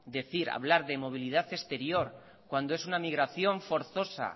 decir hablar de movilidad exterior cuando es una migración forzosa